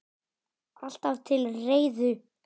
Alltaf til reiðu!